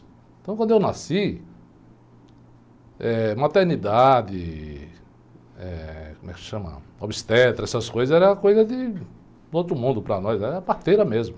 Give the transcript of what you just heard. Então, quando eu nasci, eh, maternidade, eh, como é que se chama, obstetra, essas coisas, era coisa de, de outro mundo para nós, né? Era parteira mesmo.